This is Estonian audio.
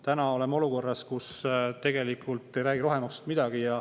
Täna oleme olukorras, kus tegelikult ei räägita rohemaksust midagi.